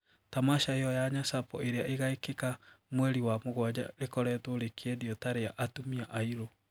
Tamasha iyo ya Nyasapo iria igaikika mweri wa mugwaja rikoretwo rikiendio ta ria "atumia airu."